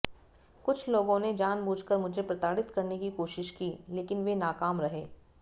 कुछ लोगों ने जानबूझ कर मुझे प्रताड़ित करने की कोशिश की लेकिन वे नाकाम रहे